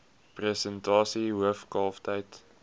persentasie hoof kalftyd